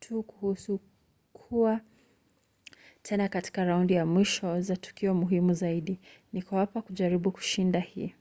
tu kuhusu kuwa tena katika raundi za mwisho za tukio muhimu zaidi. niko hapa kujaribu kushinda hii.